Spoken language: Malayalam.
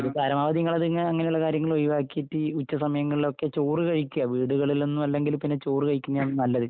അപ്പൊ അത് പരമാവധി നിങ്ങള് അതങ്ങ്... അങ്ങനെയുള്ള കാര്യങ്ങള് ഒഴിവാക്കിയിട്ട് ഉച്ച സമയങ്ങളിലൊക്കെ ചോറുകഴിക്കുക. വീടുകളിൽ നിന്നോ അല്ലെങ്കിൽ പിന്നെ ചോറ് കഴിക്കുന്നതാണ് നല്ലത്.